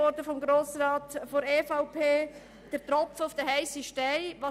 Kipfer hat vorhin von einem Tropfen auf den heissen Stein gesprochen.